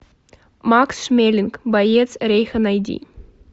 макс шмелинг боец рейха найди